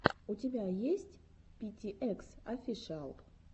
у тебя есть пи ти экс офишиал